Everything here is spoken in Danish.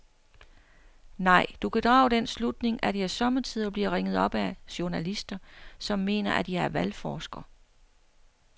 Nej, du kan drage den slutning, at jeg sommetider bliver ringet op af journalister, som mener, at jeg er valgforsker.